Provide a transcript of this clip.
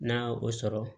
N'a ye o sɔrɔ